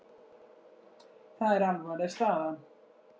Það er alvarleg staða.